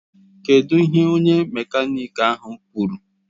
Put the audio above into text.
Kedụ ihe onye mekaniki ahụ kwuru?